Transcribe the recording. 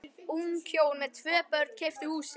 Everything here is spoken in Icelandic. Ung hjón með tvö börn keyptu húsið.